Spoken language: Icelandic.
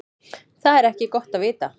Það er ekki gott að vita.